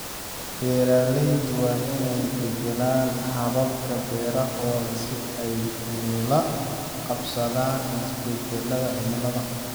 Beeraleydu waa inay beddelaan hababka beerahooda si ay ula qabsadaan isbedelada cimilada.